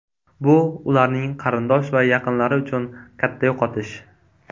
Bu ularning qarindosh va yaqinlari uchun katta yo‘qotish.